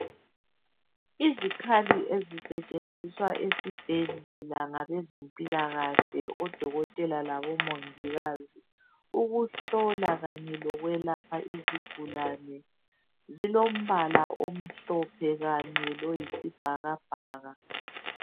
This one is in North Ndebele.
Izikhathi ezisetshenziswa esibhedlela ngabezempilakahle odokotela labomongikazi ukuhlola kanye lokwelapha izigulane zilombala omhlophe kanye loyisibhakabhaka.